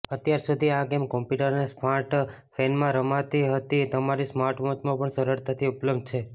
અત્યારસુધી આ game computer અને સ્માર્ટફેનમાં રમાતી હતી હવે તમારી સ્માર્ટવોચમાં પણ સરળતાથી ઉપલબ્ધ છે